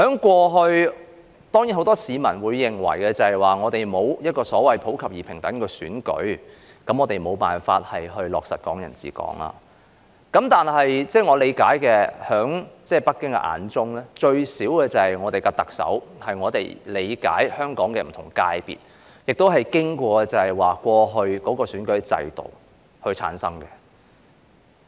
過去，當然很多市民均認為香港沒有所謂普及而平等的選舉，我們無法落實"港人治港"，但據我理解，在北京眼中，至少特首是從香港的不同界別，經過以往的選舉制度而產生的。